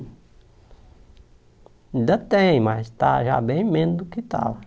Ainda tem, mas está já bem menos do que estava.